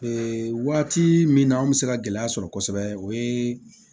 Ee waati min na an bɛ se ka gɛlɛya sɔrɔ kosɛbɛ o ye